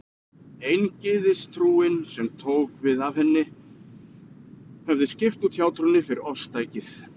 Eingyðistrúin, sem tók við af henni, hefði skipt út hjátrúnni fyrir ofstækið.